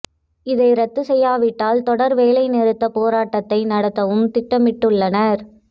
இதை ரத்து செய்யாவிட்டால் தொடர் வேலைநிறுத்த போராட்டத்தை நடத்தவும் திட்டமிட்டுள்ளனர்